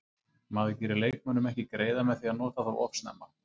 Maður gerir leikmönnum ekki greiða með því að nota þá of snemma.